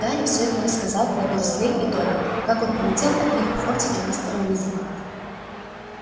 гарри всё ему рассказал про дурслей и добби как он улетел от них в фордике мистера уизли